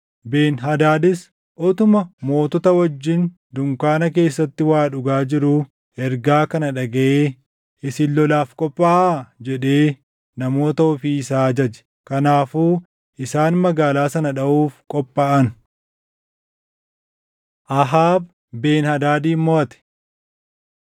Ben-Hadaadis utuma mootota wajjin dunkaana keessatti waa dhugaa jiruu ergaa kana dhagaʼee, “Isin lolaaf qophaaʼaa” jedhee namoota ofii isaa ajaje. Kanaafuu isaan magaalaa sana dhaʼuuf qophaaʼan. Ahaab Ben-Hadaadin Moʼate